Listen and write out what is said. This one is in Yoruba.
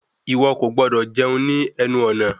Ìwọ kò gbọdọ̀ jẹun ní ẹnu ọ̀nà!